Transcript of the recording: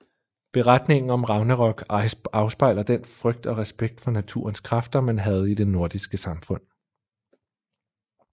Beretningen om Ragnarok afspejler den frygt og respekt for naturens kræfter man havde i det nordiske samfund